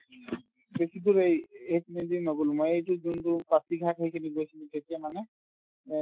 বেছি দূৰ এই~এইপিনেদি নগ'লো মই এইটো যোনতো পাচিঘাট হৈ কিনে গৈছিলো তেতিয়া মানে এই